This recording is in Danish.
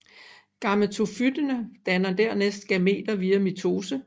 Gametofyttene danner dernæst gameter via mitose